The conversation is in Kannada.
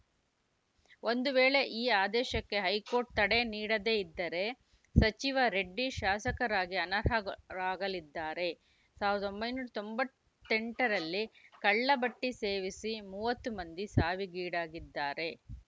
ಒಂದು ವೇಳೆ ಈ ಆದೇಶಕ್ಕೆ ಹೈಕೋರ್ಟ್‌ ತಡೆ ನೀಡದೇ ಇದ್ದರೆ ಸಚಿವ ರೆಡ್ಡಿ ಶಾಸಕರಾಗಿ ಅನರ್ಹಗೊ ರಾಗಲಿದ್ದಾರೆ ಸಾವಿರದ ಒಂಬೈನೂರ ತೊಂಬತ್ತ್ ಎಂಟರಲ್ಲಿ ಕಳ್ಳ ಭಟ್ಟಿಸೇವಿಸಿ ಮೂವತ್ತು ಮಂದಿ ಸಾವಿಗೀಡಾಗಿದ್ದರು